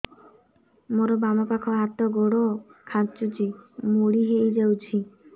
ମୋର ବାମ ପାଖ ହାତ ଗୋଡ ଖାଁଚୁଛି ମୁଡି ହେଇ ଯାଉଛି